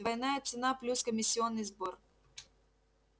двойная цена плюс комиссионный сбор